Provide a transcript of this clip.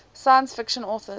science fiction authors